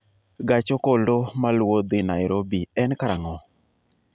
Gach okolo maluwo dhi Nairobi en karang'o